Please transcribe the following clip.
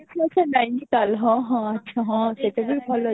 ହଁ, ସେ ନୟନତାଲ ହଁ ହଁ ଆଚ୍ଛା ସେଇଟା ବି ଭଲ ଜାଗା